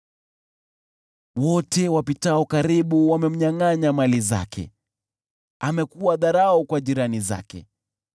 Wote wapitao karibu wamemnyangʼanya mali zake; amekuwa dharau kwa jirani zake.